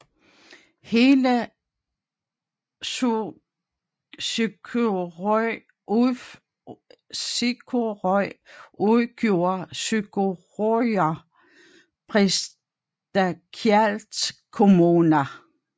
Hele Suðuroy udgjorde Suðuroyar prestagjalds kommuna